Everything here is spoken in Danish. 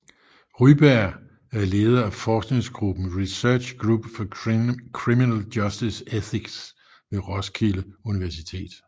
Ryberg er leder af forskningsgruppen Research Group for Criminal Justice Ethics ved Roskilde Universitet